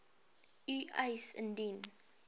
u eis indien